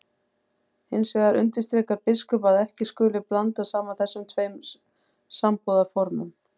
Hins vegar undirstrikar biskup að ekki skuli blanda saman þessum tveim sambúðarformum.